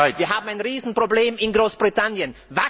Wir haben ein Riesenproblem in Großbritannien.